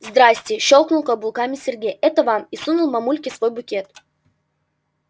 здрасте щёлкнул каблуками сергей это вам и сунул мамульке свой букет